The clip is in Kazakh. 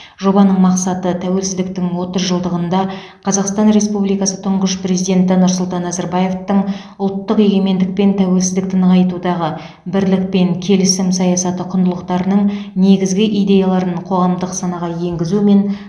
жобаның мақсаты тәуелсіздіктің отыз жылдығында қазақстан республикасы тұңғыш президенті нұрсұлтан назарбаевтың ұлттық егемендік пен тәуелсіздікті нығайтудағы бірлік пен келісім саясаты құндылықтарының негізгі идеяларын қоғамдық санаға енгізу мен